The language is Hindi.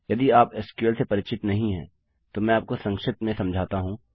यदि आप एसक्यूएल से परिचित नहीं हैं तो मैं आपको संक्षिप्त में समझाता हूँ